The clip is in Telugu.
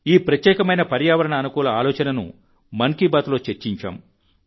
ఈ ప్రత్యేకమైన పర్యావరణ అనుకూల ఆలోచనను మన్ కీ బాత్లో చర్చించాం